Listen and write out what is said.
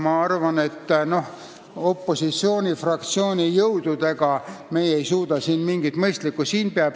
Ma arvan, et opositsioonifraktsiooni jõududega ei suuda meie siin midagi mõistlikku ette võtta.